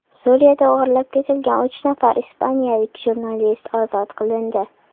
Suriyada o‘g‘irlab ketilgan uch nafar ispaniyalik jurnalist ozod qilindi.